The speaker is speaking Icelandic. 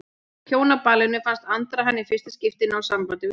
Á Hjónaballinu fannst Andra hann í fyrsta skipti ná sambandi við þorpsbúa.